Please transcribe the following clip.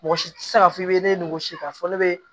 Mɔgɔ si tɛ se k'a fɔ i bɛ ne ni wɔsi k'a fɔ ne bɛ